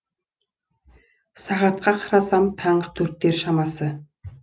сағатқа қарасам таңғы төрттер шамасы